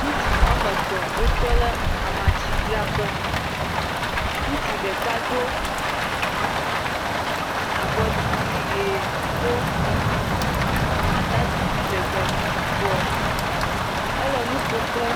Ŋutsu woame tɔ̃ wotɔ lɛ amatsidzraƒe. Ŋutsu ɖeka do abɔdidi ʋe do atadidi lɛgbɛ yibɔ. Ele nu ƒo kple.